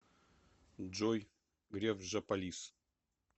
джой греф жополиз